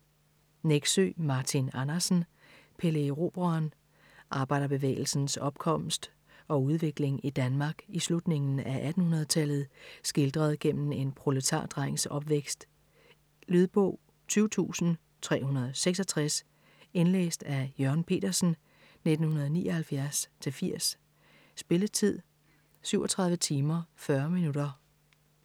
Nexø, Martin Andersen: Pelle Erobreren Arbejderbevægelsens opkomst og udvikling i Danmark i slutningen af 1800-tallet skildret gennem en proletardrengs opvækst. Lydbog 20366 Indlæst af Jørgen Petersen, 1979-80. Spilletid: 37 timer, 40 minutter.